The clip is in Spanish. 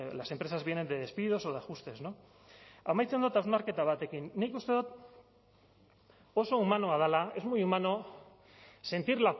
las empresas vienen de despidos o de ajustes no amaitzen dot hausnarketa batekin nik uste dot oso humanoa dela es muy humano sentir